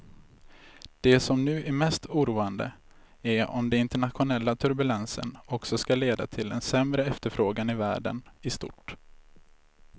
Det som nu är mest oroande är om den internationella turbulensen också ska leda till en sämre efterfrågan i världen i stort.